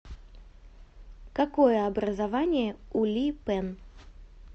какое образование у ли пэн